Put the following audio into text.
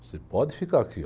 Você pode ficar aqui.